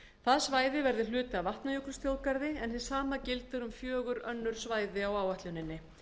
það svæði verður hluti af vatnajökulsþjóðgarði en hið sama gildir um fjögur önnur svæði á áætluninni